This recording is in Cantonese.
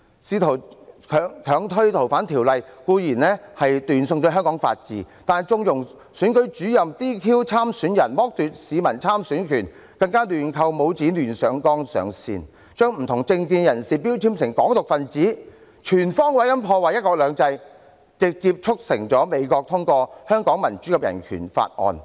試圖強推《逃犯條例》的修訂固然是斷送香港法治，但縱容選舉主任 "DQ" 參選人，剝奪市民參選的權利，更亂扣帽子、胡亂上綱上線，將不同政見的人標籤為"港獨"分子，全方位地破壞"一國兩制"，直接地促成美國通過《香港人權與民主法案》。